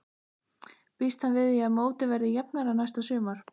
Býst hann við því að mótið verði jafnara næsta sumar?